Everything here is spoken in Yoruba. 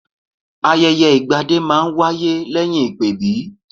Ayẹyẹ ìgbadé máa ń wáyé lẹ́yìn ìpèbí